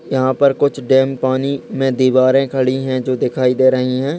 यहाँ पर कुछ डैम पानी मे दिवारे खड़ी हैं जो दिखाई दे रही हैं।